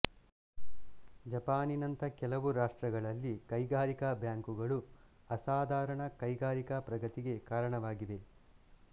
ಜಪಾನಿನಂಥ ಕೆಲವು ರಾಷ್ಟ್ರಗಳಲ್ಲಿ ಕೈಗಾರಿಕಾ ಬ್ಯಾಂಕುಗಳು ಅಸಾಧಾರಣ ಕೈಗಾರಿಕಾ ಪ್ರಗತಿಗೆ ಕಾರಣವಾಗಿವೆ